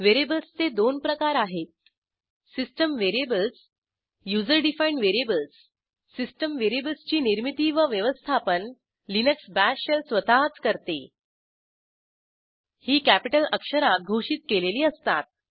व्हेरिएबल्सचे दोन प्रकार आहेत system variables user defined variables system व्हेरिएबल्सची निर्मीती व व्यवस्थापन लिनक्स बाश शेल स्वतःच करते ही कॅपिटल अक्षरात घोषित केलेली असतात